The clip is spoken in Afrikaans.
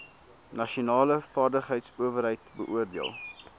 nasionale vaardigheidsowerheid beoordeel